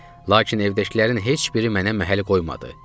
Lakin evdəkilərin heç biri mənə məhəl qoymadı.